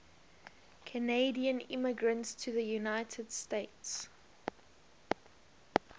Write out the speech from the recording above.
canadian immigrants to the united states